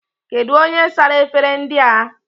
Kedu onye sara efere ndị a?